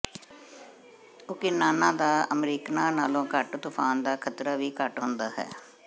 ਓਕੀਨਾਨਾਂ ਦਾ ਅਮਰੀਕਨਾਂ ਨਾਲੋਂ ਘੱਟ ਤੂਫ਼ਾਨ ਦਾ ਖ਼ਤਰਾ ਵੀ ਘੱਟ ਹੁੰਦਾ ਹੈ